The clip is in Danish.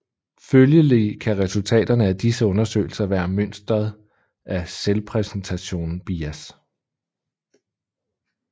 Følgelig kan resultaterne af disse undersøgelser være mønstret af selvpræsentationsbias